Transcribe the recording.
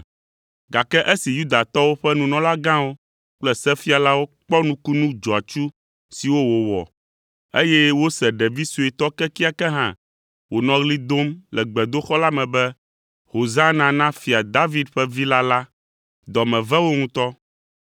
gake esi Yudatɔwo ƒe nunɔlagãwo kple sefialawo kpɔ nukunu dzɔatsu siwo wòwɔ, eye wose ɖevi suetɔ kekeake hã wònɔ ɣli dom le gbedoxɔ la me be, “Hosana na Fia David ƒe Vi la” la, dɔ me ve wo ŋutɔ.